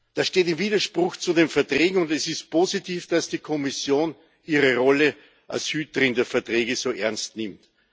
Das steht im Widerspruch zu den Verträgen, und es ist positiv, dass die Kommission ihre Rolle als Hüterin der Verträge so ernst nimmt.